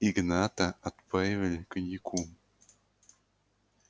игната отпаивали коньяком